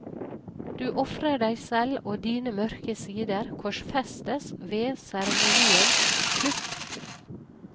Du ofrer deg selv, og dine mørke sider korsfestes ved seremoniens slutt.